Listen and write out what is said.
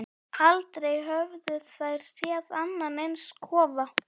Aldrei höfðu þær séð annan eins kofa.